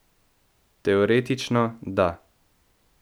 Teoretično, da.